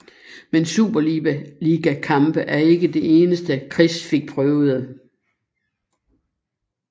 Men superliga kampe er ikke det eneste Chris fik prøvede